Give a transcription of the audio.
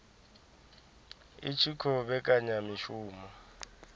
i tshi khou vhekanya mishumo